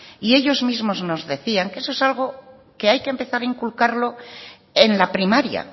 y ellos mismos nos decían que eso es algo que hay que empezar a inculcarlo en la primaria